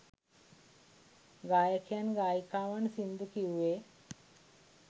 ගායකයන් ගායිකාවන් සිංදු කිව්වේ